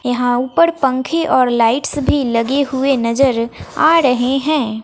यहां ऊपर पंखे और लाइट्स भी लगे हुए नजर आ रहे हैं।